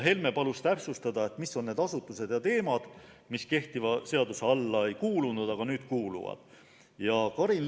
Helme palus täpsustada neid asutusi ja teemasid, mis kehtiva seaduse alla ei kuulunud, aga nüüd kuuluma.